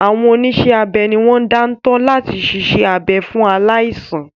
Àwọn oníṣẹ́-abẹ ni wọ́n dáńtọ́ láti siṣẹ́ abẹ fún aláìsàn.